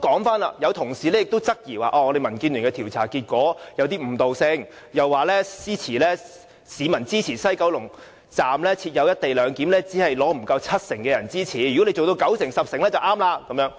此外，有同事質疑民建聯的調查結果有誤導性，又說支持西九龍站設"一地兩檢"的市民的比率不足七成，要達到九成、十成才對。